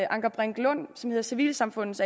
anker brink lund som hedder civilsamfundets